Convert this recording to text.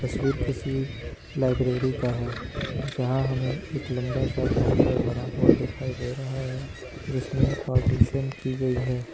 तस्वीर किसी लाइब्रेरी का है जहां हमे एक लंबा सा काउंटर बना हुआ दिखाई दे रहा है जिसमें पार्टीशन की गई है।